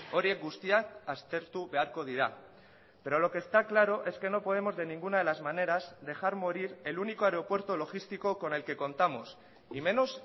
horiek guztiak aztertu beharko dira pero lo que está claro es que no podemos de ninguna de las maneras dejar morir el único aeropuerto logístico con el que contamos y menos